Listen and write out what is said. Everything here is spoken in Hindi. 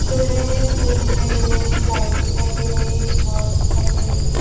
दे रहे हैं। फैन दिखाई दे रहे हैं। लाइट दिखाई दे रहे हैं। एक वाच दिखाई दे रही है।